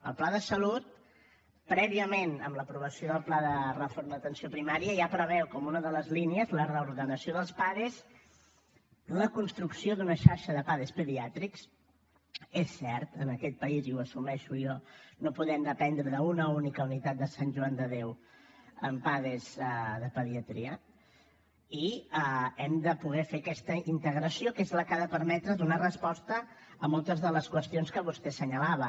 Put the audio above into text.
el pla de salut prèviament amb l’aprovació del pla de reforma de l’atenció primària ja preveu com una de les línies la reordenació dels pades la construcció d’una xarxa de pades pediàtrics és cert en aquest país i ho assumeixo jo no podem dependre d’una única unitat de sant joan de déu amb pades de pediatria i hem de poder fer aquesta integració que és la que ha de permetre donar resposta a moltes de les qüestions que vostè assenyalava